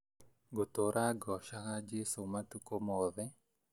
Ngũtũra ngocaga jesũ matukũ moothe